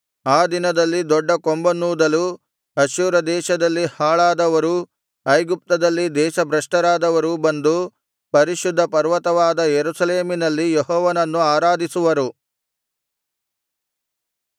ಆ ದಿನದಲ್ಲಿ ದೊಡ್ಡ ಕೊಂಬನ್ನೂದಲು ಅಶ್ಶೂರ ದೇಶದಲ್ಲಿ ಹಾಳಾದವರೂ ಐಗುಪ್ತದಲ್ಲಿ ದೇಶಭ್ರಷ್ಟರಾದವರೂ ಬಂದು ಪರಿಶುದ್ಧ ಪರ್ವತವಾದ ಯೆರೂಸಲೇಮಿನಲ್ಲಿ ಯೆಹೋವನನ್ನು ಆರಾಧಿಸುವರು